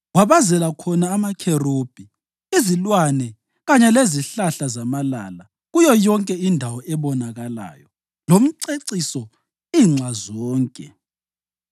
Wabazela khona amakherubhi, izilwane kanye lezihlahla zamalala kuyo yonke indawo ebonakalayo lomceciso inxa zonke.